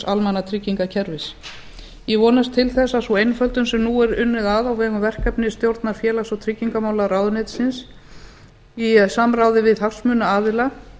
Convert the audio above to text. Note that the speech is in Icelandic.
almannatryggingakerfis ég vonast til þess að sú einföldun sem nú er unnið að á vegum verkefnisstjórnar félags og tryggingamálaráðuneytisins í samráði við hagsmunaaðila